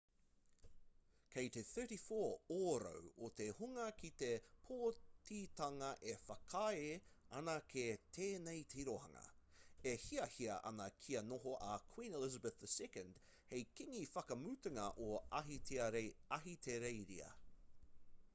kei te 34 ōrau o te hunga ki te pōtitanga e whakaae ana ki tēnei tirohanga e hiahia ana kia noho a queen elizabeth ii hei kīngi whakamutunga o ahitereiria